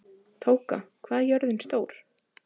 Tóka, hvað er jörðin stór?